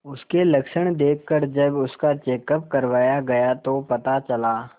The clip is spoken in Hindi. उसके लक्षण देखकरजब उसका चेकअप करवाया गया तो पता चला